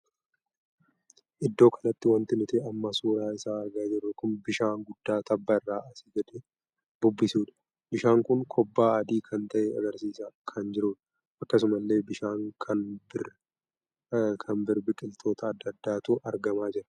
Iddoo kanatti wanti nuti amma suuraa isaa argaa jirru kun bishaan guddaa tabba irraa asi gad bubbisuudha. bishaan kun kobbaa adii kan tahe argarsiisaa kan jirudha. akkasuma illee bishaan kan bir biqiloota addaa addaatu argamaa jira.